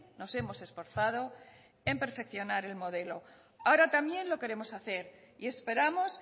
nos hemos esforzado en perfeccionar el modelo ahora también lo queremos hacer y esperamos